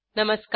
नमस्कार